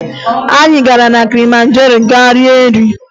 Anyị gara na Kilimanjaro gaa rie nri